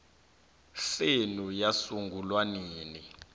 senu yasungulwa nini